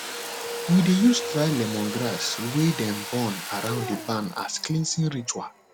we dey use dry lemongrass wey dem burn around the barn as cleansing ritual